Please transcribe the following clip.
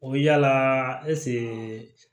O bɛ yala